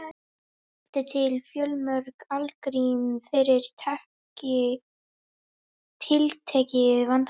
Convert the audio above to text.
Oft eru til fjölmörg algrím fyrir tiltekið vandamál.